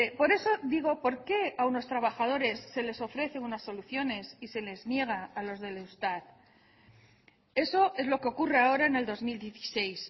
por eso digo por qué a unos trabajadores se les ofrece unas soluciones y se les niega a los del eustat eso es lo que ocurre ahora en el dos mil dieciséis